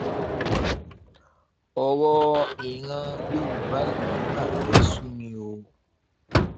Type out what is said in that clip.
ọ̀rọ̀ ìran yorùbá yìí mà fẹ́ẹ́ sú mi o